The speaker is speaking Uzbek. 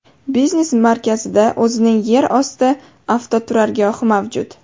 Biznes markazida o‘zining yer osti avtoturargohi mavjud.